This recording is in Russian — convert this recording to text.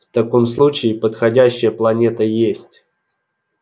в таком случае подходящая планета есть